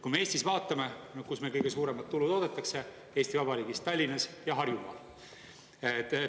Kui me vaatame, kus meil kõige suuremat tulu toodetakse Eesti Vabariigis: Tallinnas ja Harjumaal.